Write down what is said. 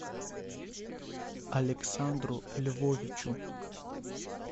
александру львовичу